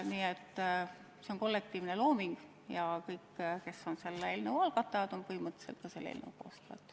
Nii et see on kollektiivne looming ja kõik, kes on selle eelnõu algatajad, on põhimõtteliselt ka selle koostajad.